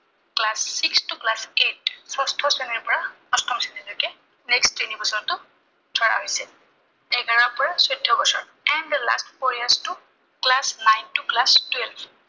class six to class eight ষষ্ঠ শ্ৰেণীৰ পৰা অষ্টম শ্ৰেণীলৈকে next তিনিবছৰ ধৰা হৈছে। এঘাৰৰ পৰা চৌধ্য বছৰ। and the last four years টো class nine to class twelve